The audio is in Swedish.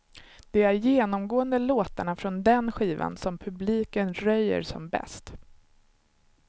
Det är genomgående låtarna från den skivan som publiken röjer som bäst.